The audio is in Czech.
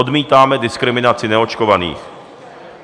Odmítáme diskriminaci neočkovaných.